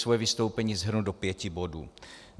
Své vystoupení shrnu do pěti bodů.